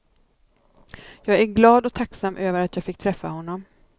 Jag är glad och tacksam över att jag fick träffa honom.